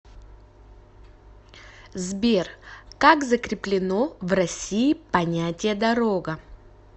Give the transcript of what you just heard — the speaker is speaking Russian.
сбер как закреплено в россии понятие дорога